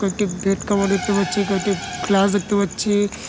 কয়েকটি bed cover দেখতে পাচ্ছি কয়েকটি ফ্লাস দেখতে পাচ্ছি।